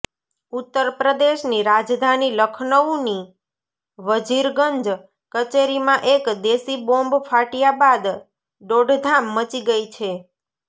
ઉત્તરપ્રદેશની રાજધાની લખનઉની વજીરગંજ કચેરીમાં એક દેશી બોમ્બ ફાટ્યા બાદ દોડધામ મચી ગઇ છે